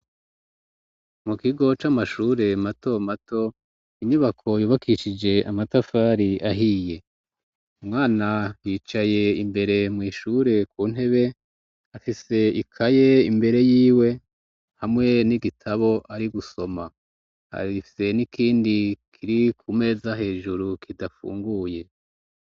Mu kigo c'amashure mato mato inyubako yubakishije amatafari ahiye umwana yicaye imbere mwishure ku ntebe afise ikaye imbere yiwe hamwe n'igitabo ari gusoma harrifise n'ikindi kiri kumee za hejuru kidafunguye.